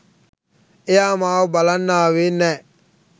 එයා මාව බලන්න ආවේ නෑ